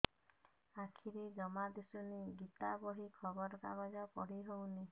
ଆଖିରେ ଜମା ଦୁଶୁନି ଗୀତା ବହି ଖବର କାଗଜ ପଢି ହଉନି